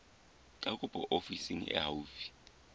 ya kopo ofising e haufi